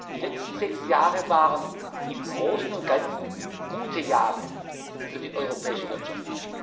Die letzten sechs Jahre waren im Großen und Ganzen gute Jahre für die europäische Wirtschaft.